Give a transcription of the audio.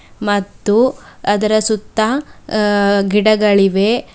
ಮತ್ತು ಅದರ ಸುತ್ತ ಅ ಗಿಡಗಳಿವೆ.